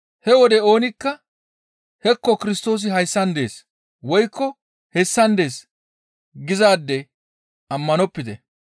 «He wode oonikka, ‹Hekko Kirstoosi hayssan dees!› Woykko, ‹Hessan dees› gizaade ammanopite.